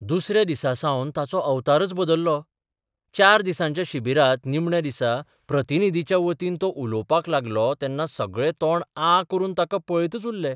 दुसऱ्या दिसा सावन ताचो अवतारच बदल्लो चार दिसांच्या शिबिरांत निमण्या दिसा प्रतिनिर्धीच्या वतीन तो उलोवपाक लागलो तेन्ना सगळे तोंड आं करून ताका पळयतच उरले.